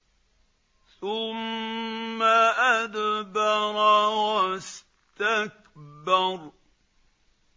ثُمَّ أَدْبَرَ وَاسْتَكْبَرَ